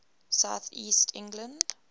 south east england